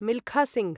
Milkha Singh